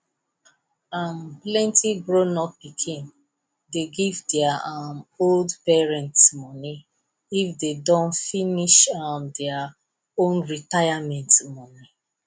um plenti grown pikin dey give their um old parents money if them don finish um their own retirement money